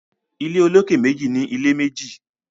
Ilé olókè méjì ní ilé méjì